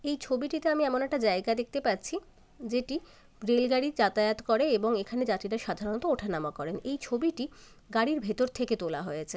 এই ছবিটিতে আমি এমন একটা জায়গা দেখতে পাচ্ছি যেটি রেল গাড়ি যাতায়াত করে | এবং এখানে যাত্রীরা সাধারণত ওঠানামা করেন | এই ছবিটি গাড়ির ভেতর থেকে তোলা হয়েছে।